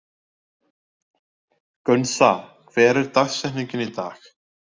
Gunnsa, hver er dagsetningin í dag?